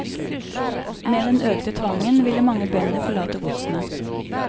Med den økte tvangen ville mange bønder forlate godsene.